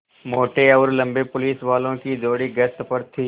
मोटे और लम्बे पुलिसवालों की जोड़ी गश्त पर थी